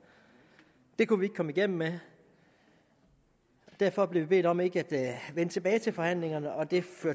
det kunne vi ikke komme igennem med derfor blev vi bedt om ikke at vende tilbage til forhandlingerne og det